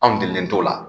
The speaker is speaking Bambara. Anw degelen t'o la